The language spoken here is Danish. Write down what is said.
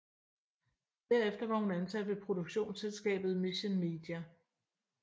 Derefter var hun ansat ved produktionsselskabet Mission Media